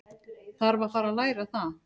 Þarf að fara að læra það.